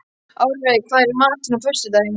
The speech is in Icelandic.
Árveig, hvað er í matinn á föstudaginn?